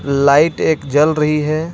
Light एक जल रही है.